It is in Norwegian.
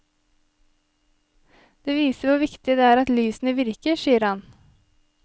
Det viser hvor viktig det er at lysene virker, sier han.